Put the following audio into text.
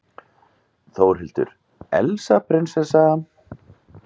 Þórhildur: Elsa prinsessa?